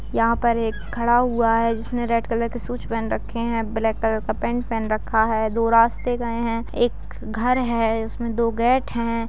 यहाँ पर एक खड़ा हुआ है जिसने रेड कलर की शूज़ पहन रखे हैं ब्लैक कलर का पेंट पहन रखा है| दो रास्ते गए हैं एक घर है उसमें दो गेट हैं।